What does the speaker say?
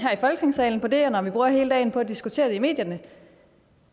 her i folketingssalen på det og når vi bruger hele dagen på at diskutere det i medierne